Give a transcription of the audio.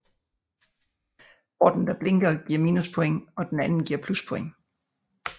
Porten der blinker giver minuspoints og den anden giver pluspoints